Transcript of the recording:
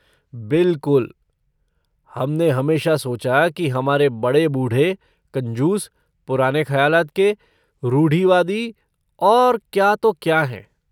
बिलकुल! हम ने हमेशा सोचा कि हमारे बड़े बूढ़े कंजूस, पुराने खयालात के, रूढ़िवादी और क्या तो क्या हैं।